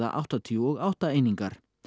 áttatíu og átta einingar